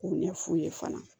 K'u ɲɛ f'u ye fana